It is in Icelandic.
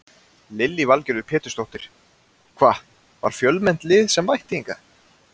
Lillý Valgerður Pétursdóttir: Hvað, var fjölmennt lið sem mætti hingað?